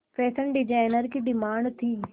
fashion designer की demand थी